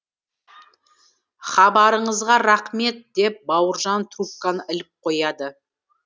хабарыңызға рақмет деп бауыржан трубканы іліп қояды